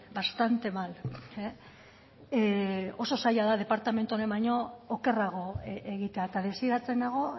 bastante mal oso zaila da departamentu honek baino okerrago egitea eta desiratzen nago